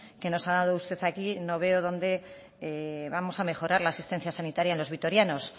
que nos ha dado usted aquí no veo dónde vamos a mejorar la asistencia sanitaria los vitorianos